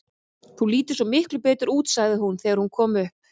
Þú lítur svo miklu betur út, sagði hún þegar hún kom upp.